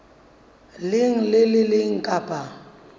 leng le le leng kapa